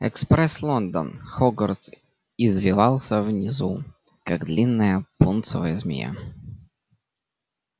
экспресс лондон хогвартс извивался внизу как длинная пунцовая змея